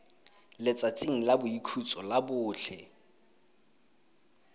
letsatsing la boikhutso la botlhe